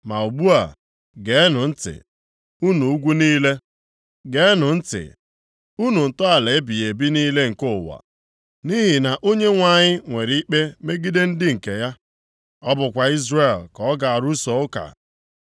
“Ma ugbu a geenụ ntị, unu ugwu niile, geenụ ntị, unu ntọala ebighị ebi niile nke ụwa, nʼihi na Onyenwe anyị nwere ikpe megide ndị nke ya. Ọ bụkwa Izrel ka ọ ga-arụso ụka.